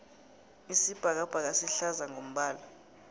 isibhakabhaka sihlaza ngombala